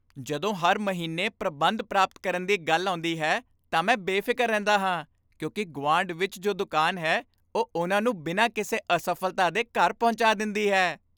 ਜਦੋਂ ਹਰ ਮਹੀਨੇ ਪ੍ਰਬੰਧ ਪ੍ਰਾਪਤ ਕਰਨ ਦੀ ਗੱਲ ਆਉਂਦੀ ਹੈ, ਤਾਂ ਮੈਂ ਬੇਫ਼ਿਕਰ ਰਹਿੰਦਾ ਹਾਂ ਕਿਉਂਕਿ ਗੁਆਂਢ ਵਿੱਚ ਜੋ ਦੁਕਾਨ ਹੈ ਉਹ ਉਨ੍ਹਾਂ ਨੂੰ ਬਿਨਾਂ ਕਿਸੇ ਅਸਫ਼ਲਤਾ ਦੇ ਘਰ ਪਹੁੰਚਾ ਦਿੰਦੀ ਹੈ।